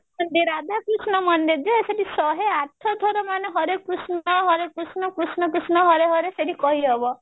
ରାଧା କୃଷ୍ଣ ମନ୍ଦିର ଯେ ସେଠି ଶହେ ଆଠ ଥର ମାନେ ହରେକୃଷ୍ଣ ହରେକୃଷ୍ଣ କୃଷ୍ଣ କୃଷ୍ଣ ହରେ ହରେ ସେଠି କହି ହେବ